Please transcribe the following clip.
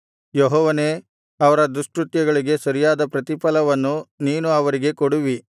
ಯೆಹೋವನೇ ಅವರ ದುಷ್ಕೃತ್ಯಗಳಿಗೆ ಸರಿಯಾದ ಪ್ರತಿಫಲವನ್ನು ನೀನು ಅವರಿಗೆ ಕೊಡುವಿ